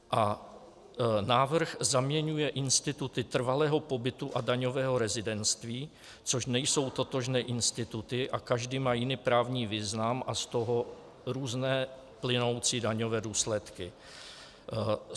A návrh zaměňuje instituty trvalého pobytu a daňového rezidentství, což nejsou totožné instituty, a každý má jiný právní význam a z toho různé plynoucí daňové důsledky.